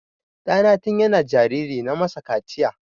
Ɗana tin yana jariri na masa kaciya.